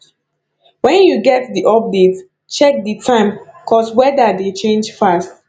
when you get di update check di time cause weda dey change fast